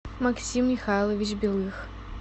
максим михайлович белых